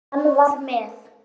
Hann var með